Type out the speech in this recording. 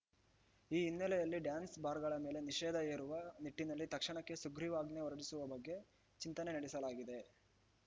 ಈ ಹಿನ್ನೆಲೆಯಲ್ಲಿ ಡ್ಯಾನ್ಸ್‌ಬಾರ್‌ಗಳ ಮೇಲೆ ನಿಷೇಧ ಹೇರುವ ನಿಟ್ಟಿನಲ್ಲಿ ತಕ್ಷಣಕ್ಕೆ ಸುಗ್ರೀವಾಜ್ಞೆ ಹೊರಡಿಸುವ ಬಗ್ಗೆ ಚಿಂತನೆ ನಡೆಸಲಾಗಿದೆ